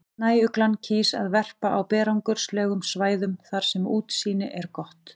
Snæuglan kýs að verpa á berangurslegum svæðum þar sem útsýni er gott.